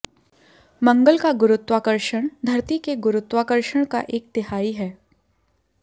मंगल का गुरुत्वाकर्षण धरती के गुरुत्वाकर्षण का एक तिहाई है